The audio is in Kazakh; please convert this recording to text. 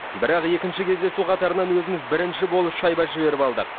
бірақ екінші кездесу қатарынан өзіміз бірінші болып шайба жіберіп алдық